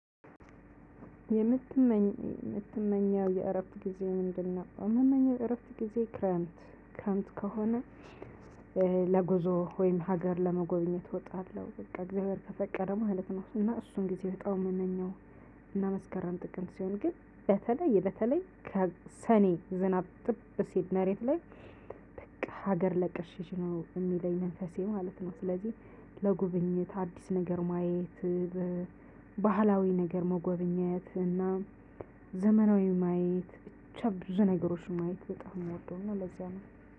የምትመኘው የምትመኘው የእረፍት ጊዜ ምንድነው? የምመኘው የእረፍት ጊዜ ክረምትክረምት ከሆነ ለጉዞ ወይም ሀገር ለመጎብኘት እወጣለሁ። በቃ እግዚአብሔር ከፈቀደ ማለት ነው እና እሱን ጊዜ በጣም የምመኘው እና መስከራን ጥቅም ሲሆን ግን በተለይ በተለይ ከሰኔ ዝናብ ጥብ ሲል መሬት ላይ በቃ ሀገር ለቀሽ ሽሺ ነው የሚለኝ መንፈሴ ማለት ነው። ስለዚህ ለጉብኝት አዲስ ነገር ማየት ባህላዊ ነገር መጎብኘት ዘመናዊ ማየት ብቻ ብዙ ነገሮችን ማየት በጣም ምወደውና ለዚያ ነው።